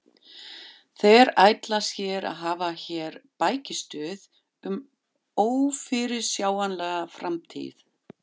Þeir ætla sér að hafa hér bækistöð um ófyrirsjáanlega framtíð!